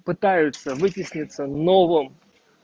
пытаются вытеснится новым